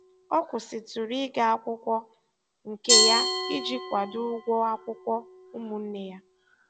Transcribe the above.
Ọ kwụsịtụrụ ịga akwụkwọ nke ya iji kwado ụgwọ akwụkwọ ụmụnne ya.